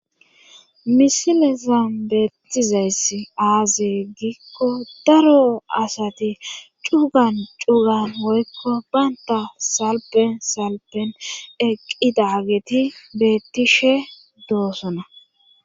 misile zambeettizayss aaze giikko daro asati cugan cugan woykko baynta salpen salpen eqqidageti bettishe doosona